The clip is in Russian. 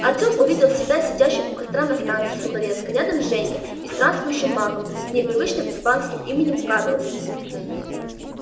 артём увидел себя сидящим у костра на станции сухаревская рядом с женькой и странствующим магом с непривычным испанским именем карлос